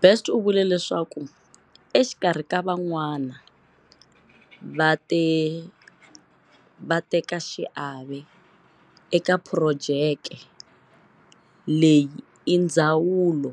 Best u vule leswaku exikarhi ka van'wana vatekaxiave eka phurojeke leyi i Ndzawulo